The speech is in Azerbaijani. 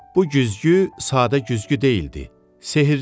Bu güzgü sadə güzgü deyildi, sehrli idi.